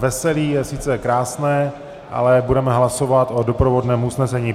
Veselí je sice krásné, ale budeme hlasovat o doprovodném usnesení.